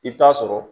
I bɛ taa sɔrɔ